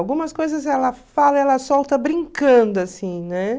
Algumas coisas ela fala, ela solta brincando, assim, né?